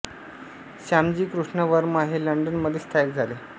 श्यामजी कृष्ण वर्मा हे लंडन मध्ये स्थायीक झाले